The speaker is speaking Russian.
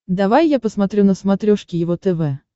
давай я посмотрю на смотрешке его тв